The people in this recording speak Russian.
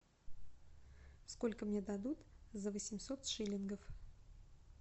сколько мне дадут за восемьсот шиллингов